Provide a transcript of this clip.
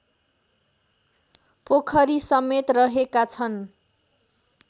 पोखरीसमेत रहेका छन्